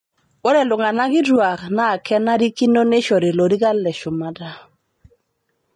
Ore iltung'ana kituak naa keishakino neishori lorikan le shumata